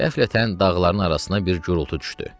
Qəflətən dağların arasına bir gurultu düşdü.